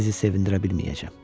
Sizi sevindirə bilməyəcəm.